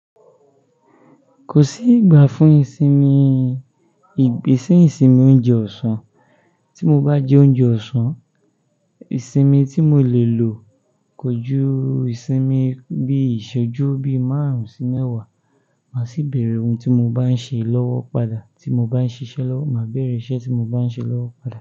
Kò sí ìgbafún ìsinmi, ìgbésí ìsinmi oúnjẹ ọ̀sán, tí mo bá jẹ oúnjẹ ọ̀sán, ìsinmi tí mo lè lò kọjú ìsinmi bí i ìṣojú bí i márùn-ún sí mẹ́wàá, màá sì bèèrè ohun tí mo bá ń ṣe lọ́wọ́ padà, tí mo bá ń ṣiṣẹ́ lọ́wọ́, màá bèèrè iṣẹ́ tí mo bá ń ṣe lọ́wọ́ padà.